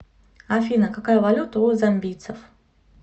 афина какая валюта у замбийцев